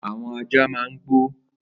Àwọn àjá mà n gbó